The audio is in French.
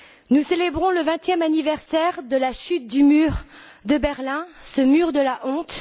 Nous célébrons le vingtième anniversaire de la chute du mur de Berlin, ce mur de la honte.